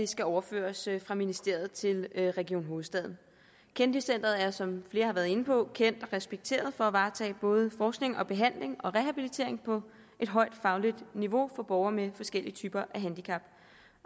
skal overføres fra ministeriet til region hovedstaden kennedy centret er som flere har været inde på kendt og respekteret for at varetage både forskning behandling og rehabilitering på et højt fagligt niveau for borgere med forskellige typer af handicap